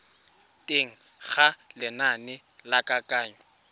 teng ga lenane la kananyo